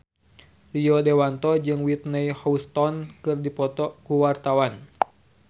Rio Dewanto jeung Whitney Houston keur dipoto ku wartawan